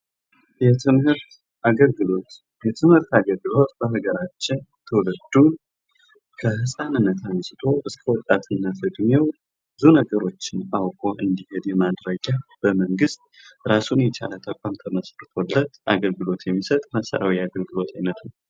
የትምህርት አገልግሎት የትምህርት አገልግሎት በአገራችን ትውልድ ህጻንነት አንስቶ ወጣትነት ዕድሜ ነገሮችን አውቆ እንዲሄድ የማድረጊያ ራሱን የቻለ ተቋም ተመሰርቶለት አገልግሎት የሚሰጥ የመሠረታዊ አገልግሎት አይነት ነው።